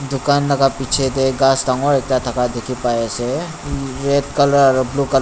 Tugan laka bechey tey khass dangor ekta thaka dekhe pai ase red colour aro blue ca--